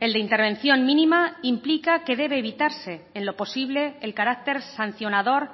el de intervención mínima implica que debe evitarse en lo posible el carácter sancionador